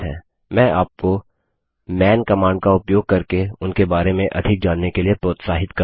मैं आपको man command का उपयोग करके उनके बारे में अधिक जानने के लिए प्रोत्साहित करता हूँ